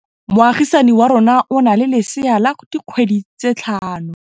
Moagisane wa rona o na le lesea la dikgwedi tse tlhano.